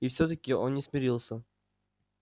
и всё-таки он не смирился